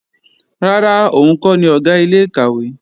Rárá, òun kọ́ ni Ọ̀gá ilé-ìkàwé